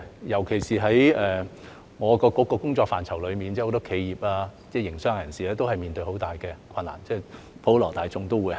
尤其是我局的工作範疇中，有很多企業、營商人士都面對很大的困難，普羅大眾也一樣。